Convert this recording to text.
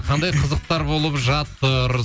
қандай қызықтар болып жатыр